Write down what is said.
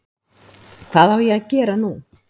Hvað á ég að gera nú?